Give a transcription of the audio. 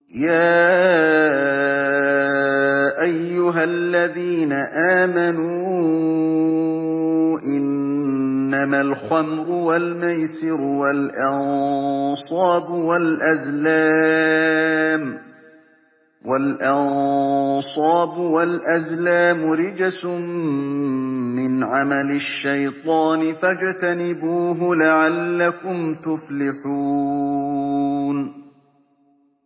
يَا أَيُّهَا الَّذِينَ آمَنُوا إِنَّمَا الْخَمْرُ وَالْمَيْسِرُ وَالْأَنصَابُ وَالْأَزْلَامُ رِجْسٌ مِّنْ عَمَلِ الشَّيْطَانِ فَاجْتَنِبُوهُ لَعَلَّكُمْ تُفْلِحُونَ